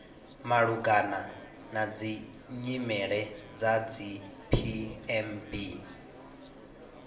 malugana na nyimele dza dzipmb